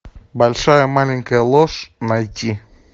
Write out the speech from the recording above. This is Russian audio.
большая маленькая ложь найти